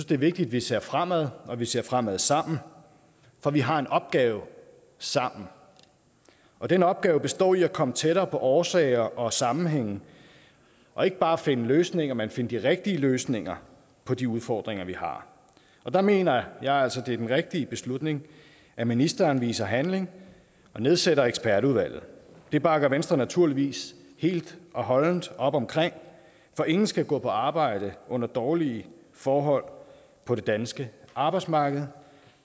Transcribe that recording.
det er vigtigt at vi ser fremad og at vi ser fremad sammen for vi har en opgave sammen og den opgave består i at komme tættere på årsager og sammenhænge og ikke bare at finde løsninger men finde de rigtige løsninger på de udfordringer vi har og der mener jeg altså det er den rigtige beslutning at ministeren viser handling og nedsætter ekspertudvalget det bakker venstre naturligvis helt og holdent op om for ingen skal gå på arbejde under dårlige forhold på det danske arbejdsmarked